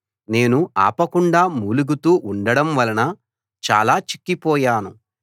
నేను ఆపకుండా మూలుగుతూ ఉండడం వలన చాలా చిక్కిపోయాను